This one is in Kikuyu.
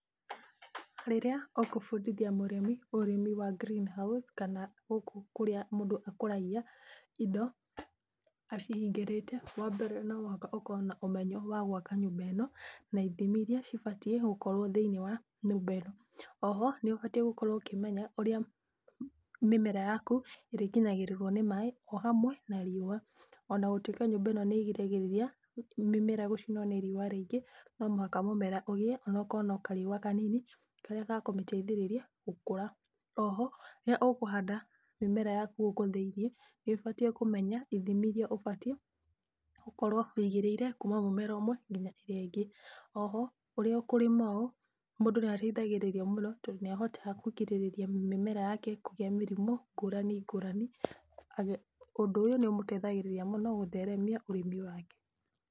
Rĩrĩa ũkũbundithia mũrĩmi ũrĩmi wa greenhouse, kana gũkũ kurĩa mundu akuragia indo acihingĩrĩte, wambere no mũhaka ũkorwo na ũmenyo wa gwaka nyũmba ĩno. Oho nĩũbatiĩ gũkorwo ũkĩmenya ũrĩa mĩmera yaku, ĩrĩkinyagĩrĩruo ni maĩ,o hamwe na riũa .Ona gũtuika nyũmba ino nĩĩgĩragĩrĩria mĩmera gũcinũo nĩ riũa. Ona gũtuika nyũmba ĩno, nĩĩrigagĩrĩria mĩmera gũcinũo ni riũa rĩingĩ, no muhaka mumera ũgĩe onakorwo nĩ kariũa kanini. Karĩa gakũmĩteithĩrĩria gũkũra. Oho rĩrĩa ũkũhanda mĩmera yaku ,gũkũ thĩinĩ nĩũbatiĩ kũmenya ithimi iria ũbatiĩ gũkorwo wĩigĩire. Kuma mũmera ũmwe, nginya ũrĩa ũngĩ. Oho rĩrĩa kũrĩma ,mũndũ nĩateithagĩrĩrio mũno, tondu nĩahotaga kũgirĩrĩria mĩmera yake ,kũgĩa mĩrimũ ngũrani ngũrani. Ũndũ ũyũ nĩũmũteithagĩrĩria mũno gũtheremia ũrĩmi wake.